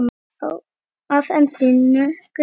Að endingu